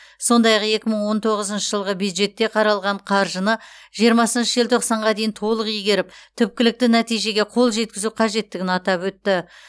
сондай ақ екі мың он тоғызыншы жылғы бюджетте қаралған қаржыны жиырмасыншы желтоқсанға дейін толық игеріп түпкілікті нәтижеге қол жеткізу қажеттігін атап өтті